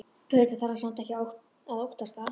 Auðvitað þarf hann samt ekkert að óttast það.